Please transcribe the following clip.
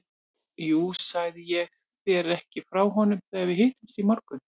Jú, sagði ég þér ekki frá honum þegar við hittumst í morgun?